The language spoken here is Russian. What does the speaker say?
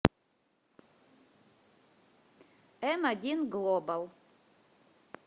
эм один глобал